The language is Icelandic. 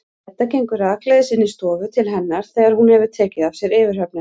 Edda gengur rakleiðis inn í stofu til hennar þegar hún hefur tekið af sér yfirhöfnina.